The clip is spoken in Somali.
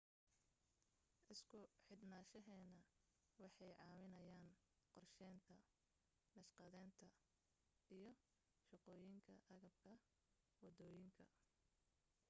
isku xidhnaanshahani waxay caawinayaan qorshaynta, naqshadaynta, iyo shaqooyinka agabka wadooyinka